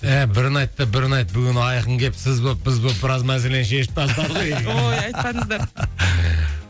ә бірін айт та бірін айт бүгін айқын келіп сіз болып біз болып біраз мәселені шешіп тастадық ей ой айтпаңыздар